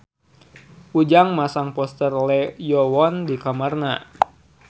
Ujang masang poster Lee Yo Won di kamarna